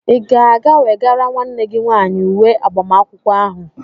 Ịga aga wegara nwanne gị nwaanyị uwe agbamakwụkwọ ahụ?